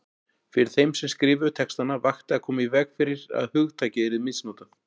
Fyrir þeim sem skrifuðu textana vakti að koma í veg fyrir að hugtakið yrði misnotað.